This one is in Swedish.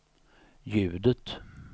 ljudet